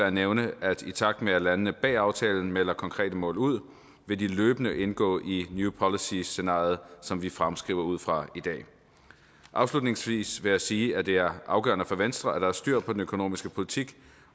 at nævne at i takt med at landene bag aftalen melder konkrete mål ud vil de løbende indgå i det new policies scenario som vi fremskriver ud fra i dag afslutningsvis vil jeg sige at det er afgørende for venstre at der er styr på den økonomiske politik